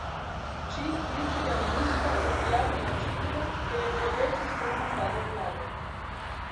Hči bivšega ministra je prijavila učitelja, ker je preveč ostro napadal vlado.